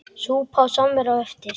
Súpa og samvera á eftir.